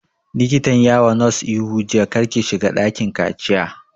Likatan ya wa nurse ihu jiya 'Kar ki shiga dakin kaciya'